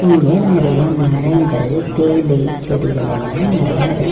இங்க நெறைய மரங்கள் தேயிலை செடிகள் எல்லா நெறைய இருக்--